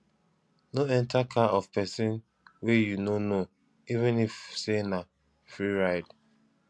no enter car of pesin wey you no know even if say na free ride